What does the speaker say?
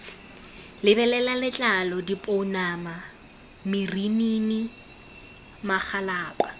lebelela letlalo dipounama marinini magalapa